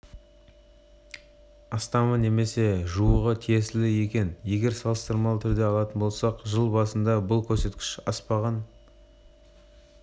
астамы немесе жуығы тиесілі екен егер салыстырмалы түрде алатын болсақ жыл басында бұл көрсеткіш аспаған